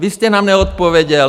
Vy jste nám neodpověděl.